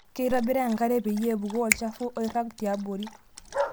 Keitobiri enkare peyie epuku olchafu oirag tiabori.